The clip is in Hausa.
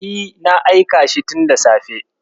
E, na aika shi tunda safe.